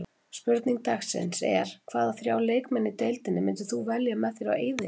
Spurning dagsins er: Hvaða þrjá leikmenn í deildinni myndir þú velja með þér á eyðieyju?